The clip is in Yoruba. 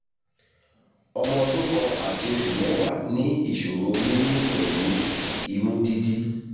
ọmọ ọdún kan àti oṣù mẹ́wàá ní ìṣòro mímí pẹ̀lú imú dídí